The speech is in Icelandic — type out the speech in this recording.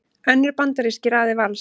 Önnur bandarísk í raðir Vals